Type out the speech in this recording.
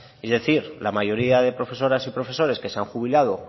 es decir la mayoría de profesoras y profesores que se han jubilado